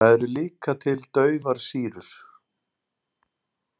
Það eru líka til daufar sýrur.